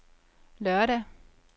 lørdag